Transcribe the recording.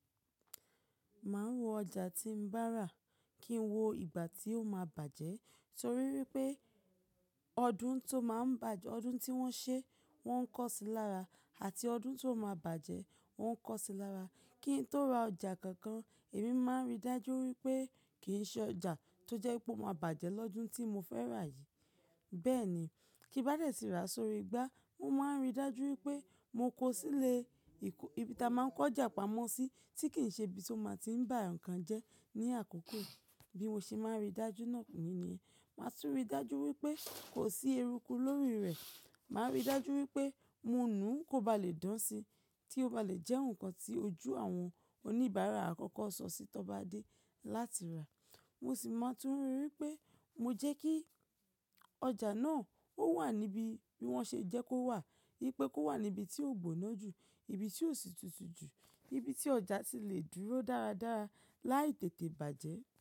Máa ń wo ọjà tí ń bá rà kí n wo ìgbà tí ó máa bàjẹ́ torí wípé ọdún tó máa ń bàjẹ́, ọdún tí wọ́n ṣe wọ́n ń kọ́ sí lára àti ọdún tó máa bàjẹ́ wọ́n ń kọ́ sí lára. Kí n tó ra ọjà kankan èmi máa ń rí dájú wípé kì í ṣe ọjà tó jẹ́ pé ó máa bàjẹ́ lọ́dún tí mo fẹ́ rà yìí. Bẹ́ẹ̀ ni, kí bá dẹ̀ ti rà sórí igbá, mo máa ń rí dájú wípé mo kó sílé ibi ta máa ń kọjà pamọ́ sí tí kì í ṣe ibi tí ó máa ti ń bà nǹkan jẹ́ ní àkókò bí mo ṣe máa ń rí dájú náà nìyẹn. Màá tún rí dájú wípé kò sí eruku lórí rẹ̀. Màá rí dájú wípé mo nu kó ba lè dán si tí ó ba lè jẹ́ nǹkan tí ojú àwọn oníbàárà àkọ́kọ́ sọ sí tọ́ bá dé láti rà. Mo sì máa tún rí wípé mo jẹ́ kí ọjà náà ó wà níbi bí wọ́n ṣe jẹ́ kó wà. Wípé kó wà ní ibi tí ó gbóná jù, ibi tí ó sì tutù jù, ibi tí ọjà tì lè dúró dáradára láì tètè bàjẹ́.